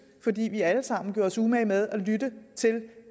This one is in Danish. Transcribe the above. fordi vi alle sammen har gjort os umage med at lytte til